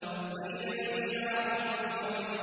وَإِذَا الْبِحَارُ فُجِّرَتْ